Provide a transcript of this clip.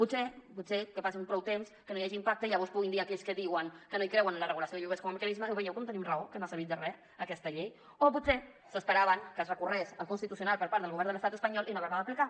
potser potser que passi prou temps que no hi hagi impacte i llavors puguin dir aquells que diuen que no hi creuen en la regulació de lloguers com a mecanisme ho veieu com tenim raó que no ha servit de re aquesta llei o potser s’esperaven que es recorregués al constitucional per part del govern de l’estat espanyol i no haver la d’aplicar